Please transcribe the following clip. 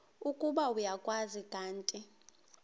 ukuba uyakwazi kanti